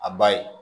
A ba ye